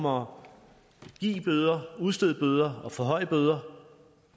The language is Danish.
om at give bøder udstede bøder og forhøje bøder